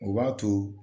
O b'a to